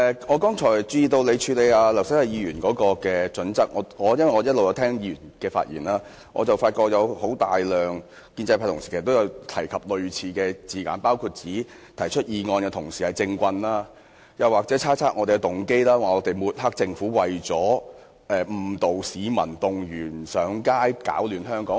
我一直在聆聽議員的發言，發覺很多建制派同事均有用類似的字眼，包括指提出議案的同事是"政棍"，又或是猜測我們的動機，指我們抹黑政府是為了誤導市民，動員上街，攪亂香港。